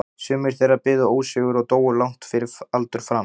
Sumir þeirra biðu ósigur og dóu langt fyrir aldur fram.